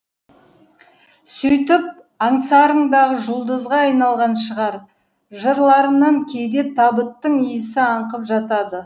сөйтіп аңсарындағы жұлдызға айналған шығар жырларынан кейде табыттың иісі аңқып жатады